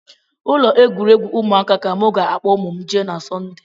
Ụlọ egwuregwu ụmụaka ka m ga-akpọ ụmụ m jee na sọnde